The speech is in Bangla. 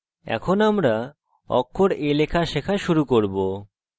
আমরা এখন অক্ষর a লেখা শেখা শুরু করব